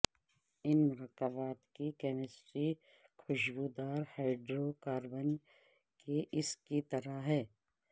ان مرکبات کی کیمسٹری کھشبودار ہائڈروکاربن کے اس کی طرح ہے